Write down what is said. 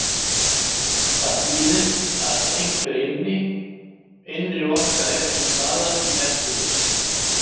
Það þýðir að einhver innri orka er til staðar í Neptúnusi.